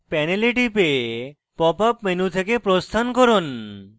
panel টিপে pop up menu থেকে প্রস্থান করুন